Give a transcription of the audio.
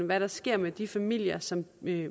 hvad der sker med de familier som